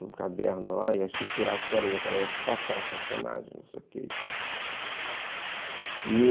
num caderno lá, ia estruturar a história, onde ela ia passar os personagens, não sei o quê e tal.